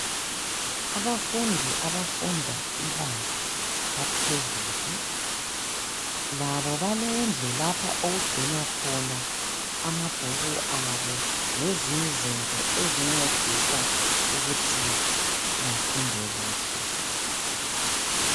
Abafundi ,abafunda ibanga laphezulu. Labo balendlu lapha okugcinwa khona amabhuku abo ,lezinye izinto bezincedisa ukuthi bafunde kuhle.